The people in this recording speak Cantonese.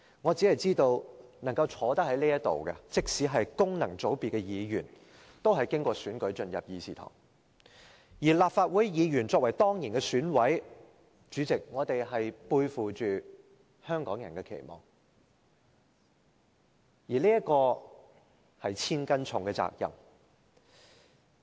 我只知道能夠坐在這裏的，即使是功能界別的議員，都是經過選舉進入會議廳，而立法會議員作為當然的選委，背負着香港人的期望，而這是千斤重的責任。